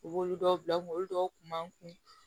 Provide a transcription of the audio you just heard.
U b'olu dɔw bila kunkolo dɔw kun man kun